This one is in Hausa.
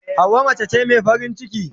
Hauwa mace ce mai farin ciki.